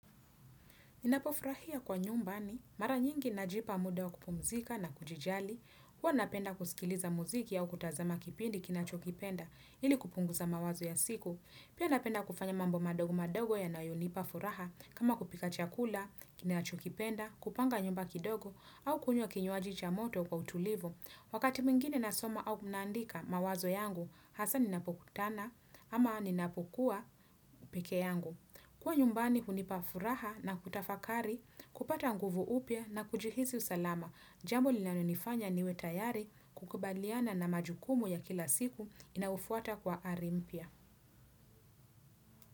Ninapofurahia kwa nyumbani, mara nyingi najipa muda wa kupumzika na kujijali, huwa napenda kusikiliza muziki au kutazama kipindi kinacho kipenda ili kupunguza mawazo ya siku. Pia napenda kufanya mambo madogo madogo yanayonipa furaha kama kupika chakula, kinacho kipenda, kupanga nyumba kidogo au kunywa kinywaji cha moto kwa utulivu. Wakati mwingine nasoma au naandika mawazo yangu, hasa ninapokutana ama ninapokuwa peke yangu. Kuwa nyumbani hunipa furaha na kutafakari, kupata nguvu upya na kujihisi usalama, jambo linalonifanya niwe tayari kukubaliana na majukumu ya kila siku inayofuata kwa ari mpya.